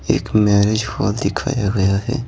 एक marriage hall दिखाया गया है।